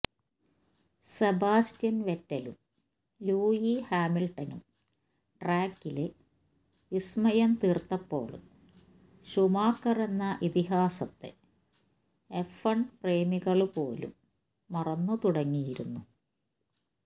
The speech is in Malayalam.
സെബാസ്റ്റിയന് വെറ്റലും ലൂയി ഹാമില്ട്ടണും ട്രാക്കില് വിസ്മയം തീര്ത്തപ്പോള് ഷൂമാക്കറെന്ന ഇതിഹാസത്തെ എഫ് വണ് പ്രേമികള് പോലും മറന്നുതുടങ്ങിയിരുന്നു